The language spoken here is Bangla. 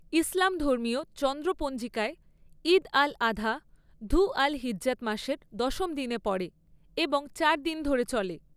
ইসলামধর্মীয় চন্দ্র পঞ্জিকায়ে, ঈদ আল আধা ধু আল হিজ্জাহ মাসের দশম দিনে পড়ে এবং চার দিন ধরে চলে।